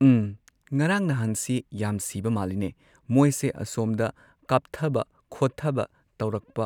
ꯎꯝ ꯉꯔꯥꯡ ꯅꯍꯥꯟꯁꯤ ꯌꯥꯝ ꯁꯤꯕ ꯃꯥꯜꯂꯤꯅꯦ ꯃꯣꯏꯁꯦ ꯑꯁꯣꯝꯗ ꯀꯥꯞꯊꯕ ꯈꯣꯊꯕ ꯇꯧꯔꯛꯄ